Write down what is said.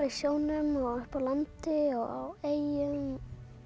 í sjónum upp á landi á eyjum